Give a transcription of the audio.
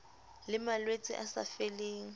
le malwetse a sa feleng